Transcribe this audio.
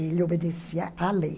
Ele obedecia à lei.